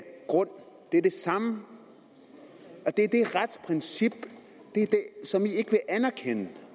grund det er det samme og det er det retsprincip som i ikke vil anerkende